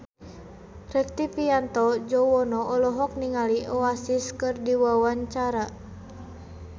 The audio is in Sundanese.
Rektivianto Yoewono olohok ningali Oasis keur diwawancara